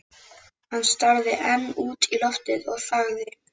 Hann starði enn út í loftið og þagði.